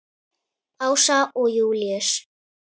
Ása og Júlíus.